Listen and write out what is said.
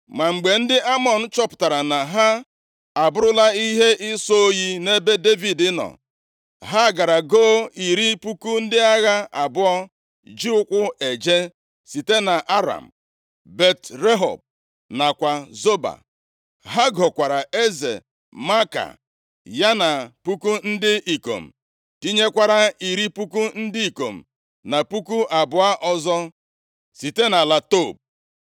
Ma mgbe ndị Amọn chọpụtara na ha abụrụla ihe ịsọ oyi nʼebe Devid nọ, ha gara goo iri puku ndị agha abụọ ji ụkwụ eje site nʼAram, Bet-Rehob nakwa Zoba. Ha gokwara eze Maaka ya na puku ndị ikom, tinyekwara iri puku ndị ikom na puku abụọ ọzọ site nʼala Tob.